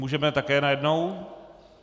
Můžeme také najednou?